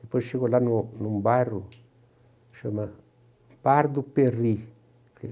Depois chego lá num num bairro, chama Pardo Perri,